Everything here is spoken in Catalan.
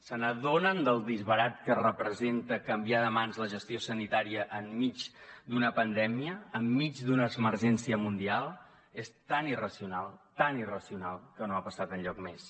se n’adonen del disbarat que representa canviar de mans la gestió sanitària enmig d’una pandèmia enmig d’una emergència mundial és tan irracional tan irracional que no ha passat enlloc més